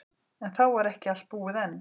En þá var ekki allt búið enn.